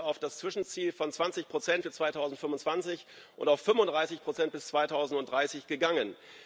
Wir sind auf das Zwischenziel von 20 für 2025 und auf 35 bis 2030 gegangen.